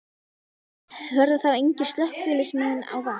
Verða þá engir slökkviliðsmenn á vakt?